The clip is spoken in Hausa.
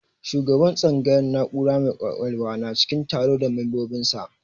Shugabar tsangayar na'ura mai kwakwalwa na cikin taro da membobin sa